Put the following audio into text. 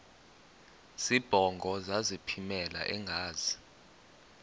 zibongo zazlphllmela engazi